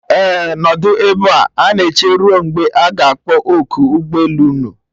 Ee, nọdụ ebe a na eche ruo mgbe a ga-akpọ oku ụgbọ elu unu